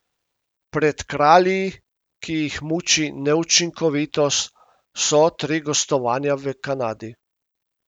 Pred Kralji, ki jih muči neučinkovitost, so tri gostovanja v Kanadi.